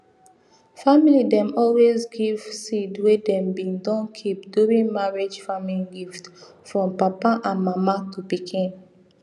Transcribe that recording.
family dem always give seed wey dem bin don keep during marriage farming gift from papa and mama to pikin